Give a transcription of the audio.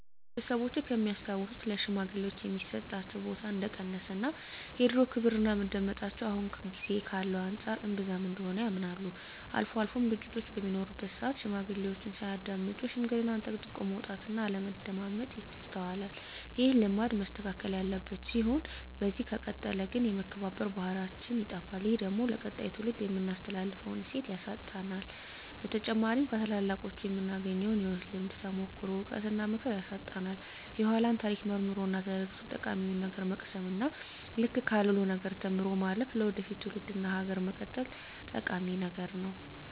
ቤተሰቦቼ ከሚያስታውሱት ለሽማግሌወች የሚሰጣቸው ቦታ እንደቀነሰ እና የድሮው ክብርና መደመጣቸው አሁን ጊዜ ካለው አንፃር እንብዛም እንደሆነ ያምናሉ። አልፎ አልፎም ግጭቶች በሚኖሩበት ስአት ሽማግሌዎችን ሳያዳምጡ ሽምግልናን ጠቅጥቆ መውጣት እና አለማዳመጥ ይስተዋላል። ይህ ልማድ መስተካከል ያለበት ሲሆን በዚህ ከቀጠለ ግን የመከባበር ባህላችን ይጠፋል። ይህ ደግሞ ለቀጣይ ትውልድ የምናስተላልፈውን እሴት ያሳጣናል። በተጨማሪም ከታላላቆቹ የምናገኘውን የህይወት ልምድ፣ ተሞክሮ፣ እውቀት እና ምክር ያሳጣናል። የኃላን ታሪክ መርምሮ እና ተረድቶ ጠቃሚውን ነገር መቅሰም እና ልክ ካልሆነው ነገር ተምሮ ማለፍ ለወደፊት ትውልድ እና ሀገር መቀጠል ጠቂሚ ነገር ነው።